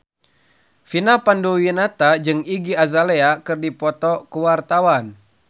Vina Panduwinata jeung Iggy Azalea keur dipoto ku wartawan